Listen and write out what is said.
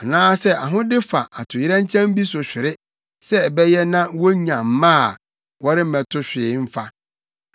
anaasɛ ahode fa atoyerɛnkyɛm bi so hwere sɛ ɛbɛyɛ na wonya mma a wɔremmɛto hwee mfa.